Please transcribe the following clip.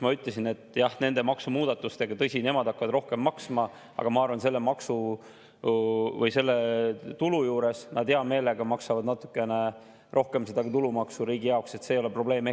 Ma ütlesin, et jah, tõsi, nende maksumuudatustega hakkavad nemad rohkem maksma, aga ma arvan, et selle tulu juures nad hea meelega maksavad natuke rohkem tulumaksu riigi jaoks, see ei ole probleem.